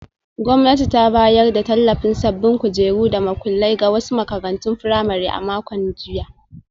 Gwamnati ta bayar da tallafin sabbin kujeru da makullai ga wasu makarantun firamare a makon jiya.